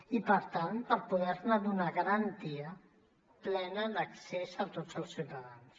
i per tant per poder ne donar garantia plena d’accés a tots els ciutadans